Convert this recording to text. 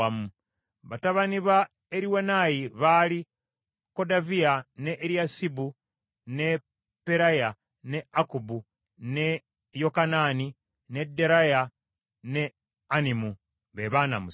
Batabani ba Eriwenayi baali Kodaviya, ne Eriyasibu, ne Peraya, ne Akkubu, ne Yokanaani, ne Deraya ne Anami, be baana musanvu.